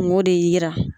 Kungo de yira